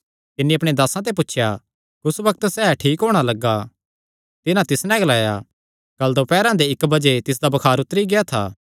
तिन्नी अपणे दासां ते पुछया कुस बग्त सैह़ ठीक होणा लग्गा तिन्हां तिस नैं ग्लाया कल दोपैरा दे इक्क बजे तिसदा बुखार उतरी गेआ था